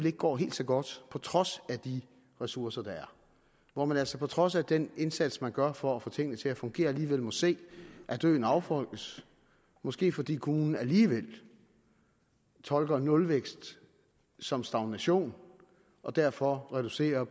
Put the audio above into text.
ikke går helt så godt på trods af de ressourcer og hvor man altså på trods af den indsats man gør for at få tingene til at fungere alligevel må se at øen affolkes måske fordi kommunen alligevel tolker nulvækst som stagnation og derfor reducerer